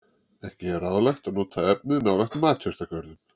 Ekki er ráðlegt að nota efnið nálægt matjurtagörðum.